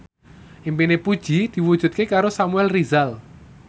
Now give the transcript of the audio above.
impine Puji diwujudke karo Samuel Rizal